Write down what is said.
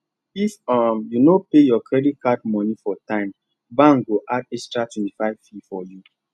if um you no pay your credit card money for time bank go add extra 25 fee for you